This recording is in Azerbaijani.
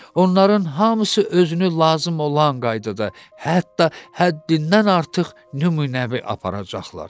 Onların hamısı özünü lazım olan qaydada, hətta həddindən artıq nümunəvi aparacaqlar.